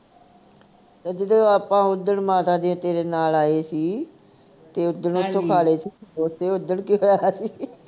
ਜਦੋਂ ਆਪਾ ਉੱਦਣ ਮਾਤਾ ਤੇ ਤੇਰੇ ਨਾਲ ਆਏ ਸੀ ਤੇ ਉੱਦਣ ਉਥੋਂ ਖਾ ਲੇ ਸੀ ਸਮੋਸੇ ਉੱਦਣ ਕੀ ਹੋਇਆ ਸੀ।